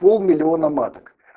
пол миллиона маток